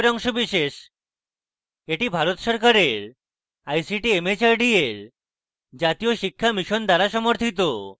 এটি ভারত সরকারের ict mhrd এর জাতীয় শিক্ষা mission দ্বারা সমর্থিত